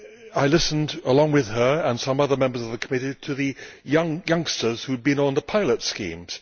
I listened along with her and some other members of the Committee to the youngsters who had been on the pilot schemes.